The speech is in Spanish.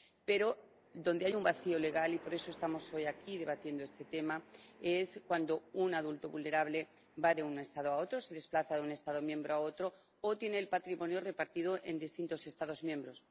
Pero hay un vacío legal —y por eso estamos hoy aquí debatiendo este tema— cuando un adulto vulnerable va de un Estado a otro, se desplaza de un Estado miembro a otro o tiene el patrimonio repartido en distintos Estados miembros.